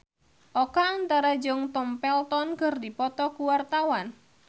Oka Antara jeung Tom Felton keur dipoto ku wartawan